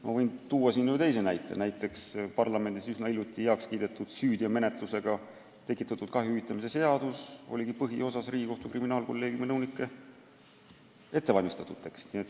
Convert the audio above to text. Ma võin siin ühe teisegi näite tuua: parlamendis üsna hiljuti heaks kiidetud süüteomenetluses tekitatud kahju hüvitamise seadus oli põhiosas Riigikohtu kriminaalkolleegiumi nõunike ette valmistatud.